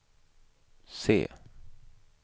se